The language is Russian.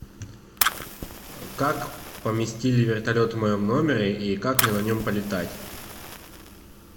как поместили вертолет в моем номере и как мне на нем полетать